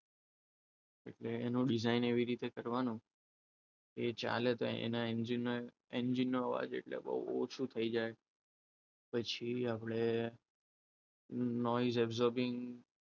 એટલે એનું ડિઝાઇન એવી રીતે કરવાનું એ ચાલે તો એને એન્જિનના નો અવાજ એટલે બહુ ઓછો થઈ જાય. પછી આપણે absorbing